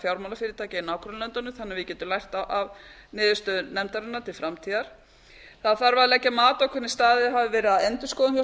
fjármálafyrirtækja í nágrannalöndunum þannig að við getum lært af niðurstöðu nefndarinnar til framtíðar d leggja mat á hvernig staðið hafi verið að endurskoðun hjá